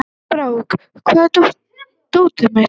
Brák, hvar er dótið mitt?